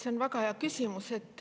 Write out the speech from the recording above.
See on väga hea küsimus.